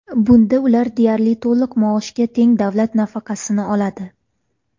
Bunda ular deyarli to‘liq maoshga teng davlat nafaqasini oladi.